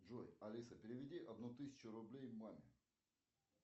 джой алиса переведи одну тысячу рублей маме